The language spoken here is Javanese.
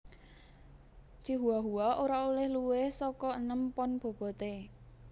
Chihuahua ora olèh luwih saka enem pon boboté